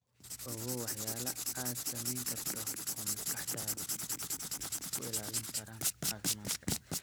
Ogow waxyaalaha aad samayn karto oo maskaxdaada ku ilaalin kara caafimaad.